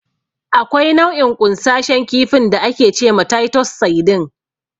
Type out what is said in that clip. Akwai nau'in ƙunsashen kifin da ake ce ma "Taitos Saidin".